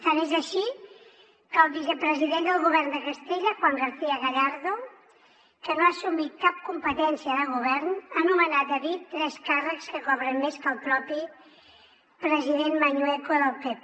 tant és així que el vicepresident del govern de castella juan garcía gallardo que no ha assumit cap competència de govern ha nomenat a dit tres càrrecs que cobren més que el propi president mañueco del pp